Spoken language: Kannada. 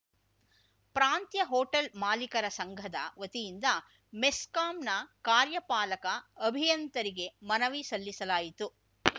ಪ್ರಾಂತ್ಯ ಹೋಟೆಲ್‌ ಮಾಲೀಕರ ಸಂಘದ ವತಿಯಿಂದ ಮೆಸ್ಕಾಂನ ಕಾರ್ಯಪಾಲಕ ಅಭಿಯಂತರಿಗೆ ಮನವಿ ಸಲ್ಲಿಸಲಾಯಿತು